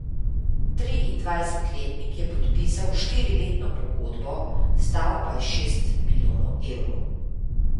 Triindvajsetletnik je podpisal štiriletno pogodbo, stal pa je šest milijonov evrov.